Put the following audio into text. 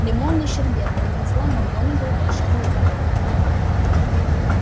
лимонный шербет произнесла макгонагалл волшебный пароль